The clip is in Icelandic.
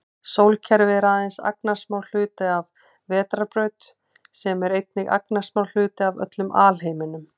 Sólkerfi er aðeins agnarsmár hluti af vetrarbraut sem er einnig agnarsmár hluti af öllum alheiminum.